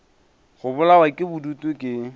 go bolawa ke bodutu ke